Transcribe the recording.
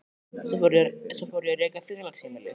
Svo fór ég að reka félagsheimili.